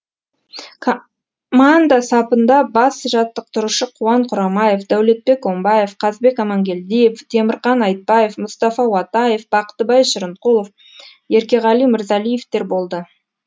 сапында бас жаттықтырушы қуан құрамаев дәулетбек омбаев қазбек амангельдиев темірқан айтбаев мұстафа уатаев бақтыбай шырынқұлов еркеғали мырзалиевтер болды